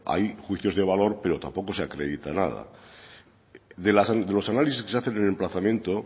hay juicios de valor pero tampoco se acredita nada de los análisis que se hacen en el emplazamiento